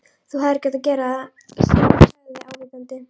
Þú hefðir ekki átt að gera það sagði hann ávítandi.